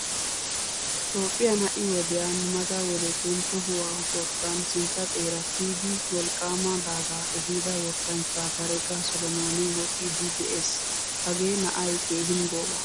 Toophphiyaan ha'i wodiyan mata wodettun tohuwaa wottan sintta xeera kiyidi wolqqama daaga ehida wottanchcha barega solomoni woxidi de'ees. Hagee na'ay keehin gooba.